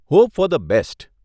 Hope for the best.